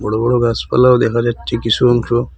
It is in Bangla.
বড় বড় গাছপালাও দেখা যাচ্ছে কিসু অংশ।